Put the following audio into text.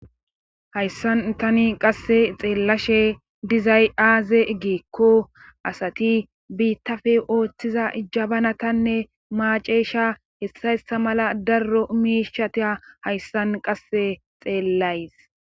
hayssan tani qasse xeellashe dizay aaze giikko asati biittappe ooththiza jabanatanne maaceesha hessa hessa mala darro miishat hayssan qasse xeellays